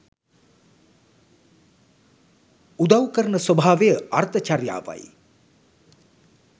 උදව් කරන ස්වභාවය අර්ථ චරියාවයි.